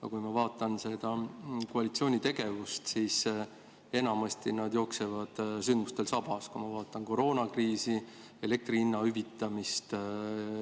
Aga kui ma vaatan koalitsiooni tegevust, siis enamasti nad jooksevad sündmustel sabas – mõtlen koroonakriisi, elektri hinna hüvitamist.